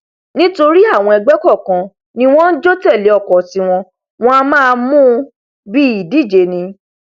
nítorí àwọn ẹgbẹ kọọkan ní wọn njó tẹlé ọkọ tiwọn wọn a máa mú u bí ìdíje ni